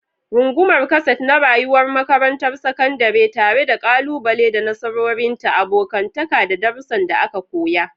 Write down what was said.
Rungumar kaset na rayuwar makarantar sakandare, tare da kalubale da nasarorinta, abokantaka da darussan da aka koya.